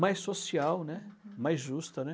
mais social, né, uhum, mais justa, né.